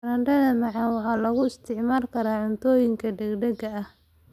Baradhada macaan waxaa loo isticmaali karaa cuntooyinka degdegga ah.